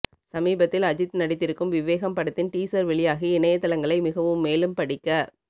சமீபத்தில் அஜித் நடித்திருக்கும் விவேகம் படத்தின் டீசர் வெளியாகி இணையதளங்களை மிகவும் மேலும் படிக்க